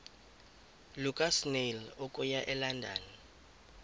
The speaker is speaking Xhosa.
lukasnail okuya elondon